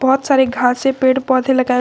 बहुत सारे घासे पेड़ पौधे लगाए हुए--